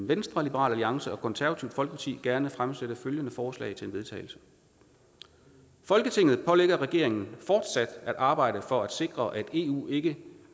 venstre liberal alliance og det konservative folkeparti gerne fremsætte følgende forslag til vedtagelse folketinget pålægger regeringen fortsat at arbejde for at sikre at eu ikke